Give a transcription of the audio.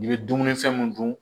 I bɛ dumunifɛn mun dun